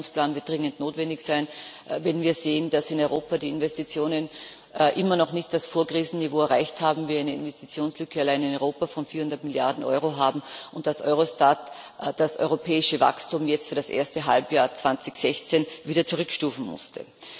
Dieser Aktionsplan wird dringend notwendig sein, wenn wir sehen, dass in Europa die Investitionen immer noch nicht das Vorkrisenniveau erreicht haben, wir allein in Europa eine Investitionslücke von 400 Milliarden Euro haben und Eurostat das europäische Wachstum jetzt für das erste Halbjahr 2016 wieder zurückstufen musste.